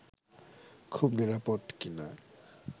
খুব নিরাপদ কি না